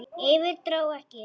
Yfir- dró ekki!